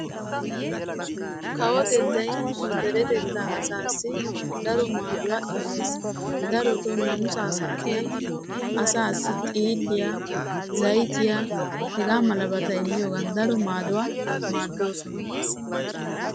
Kawotettay nu deretetta asaassi daro maaduwa imees darotto naamissa saatiyan xiilliyq zayttiya immiyoogan daro maaduwa maadosonna.